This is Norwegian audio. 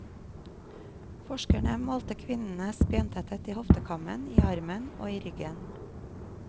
Forskerne målte kvinnenes bentetthet i hoftekammen, i armen og i ryggen.